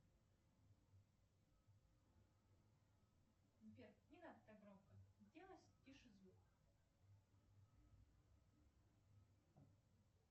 сбер не надо так громко сделай тише звук